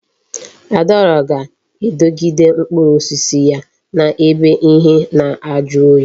Adaora ga-edogide mkpụrụ osisi ya na ebe ihe na aju oyi